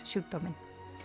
sjúkdóminn